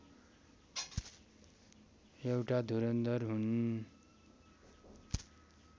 एउटा धुरन्धर हुन्